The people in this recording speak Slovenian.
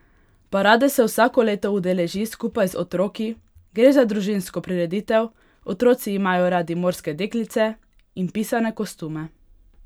Parade se vsako leto udeleži skupaj z otroki: "Gre za družinsko prireditev, otroci imajo radi morske deklice in pisane kostume.